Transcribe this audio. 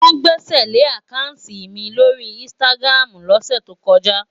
Wọ́n gbẹ́sẹ̀lé àkáùntì mi lórí Instagram lọ́sẹ̀ tó kọjá.